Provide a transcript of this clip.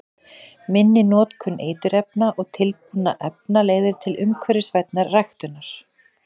Minni notkun eiturefna og tilbúinna efna leiðir til umhverfisvænni ræktunar.